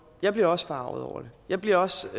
jeg bliver også forarget over det jeg bliver også